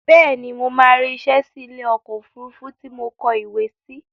Bẹ́ẹ̀ni, mo máa rí isẹ́ sí ilé ọkọ̀ òfurufú tí mo kọ ìwé sí